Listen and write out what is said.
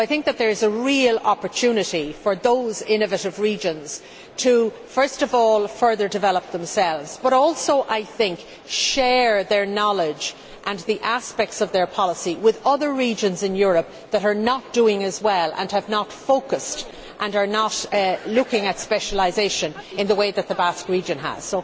There is a real opportunity for those innovative regions to first of all further develop themselves, but also share their knowledge and the aspects of their policy with other regions in Europe that are not doing as well and have not focused and are not looking at specialisation in the way that the Basque region has.